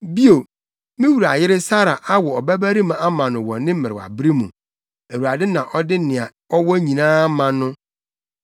Bio, me wura yere Sara awo ɔbabarima ama no wɔ ne mmerewabere mu; Awurade na ɔde nea ɔwɔ nyinaa ama no.